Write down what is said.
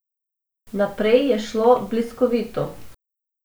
Naprej je šlo bliskovito.